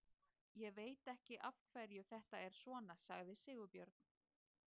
Ég veit ekki af hverju þetta er svona, sagði Sigurbjörn.